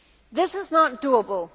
This is not doable.